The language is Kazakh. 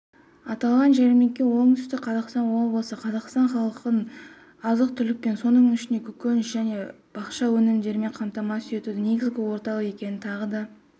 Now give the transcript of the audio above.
аталған жәрмеңке оңтүстік қазақстан облысы қазақстан халқын азық-түлікпен соның ішінде көкөніс және бақша өнімдерімен қамтамасыз етуде негізгі орталық екенін тағы да